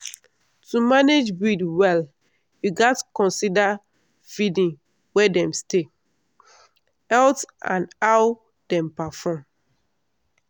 to manage breed well you gats consider feeding where dem stay health and how dem perform.